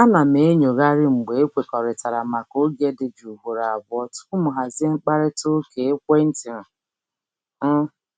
A na m enyoghari mgbe ekwekọrịtara maka oge dị jụụ ugboro abụọ tupu m hazie mkparịta ụka ekwenti m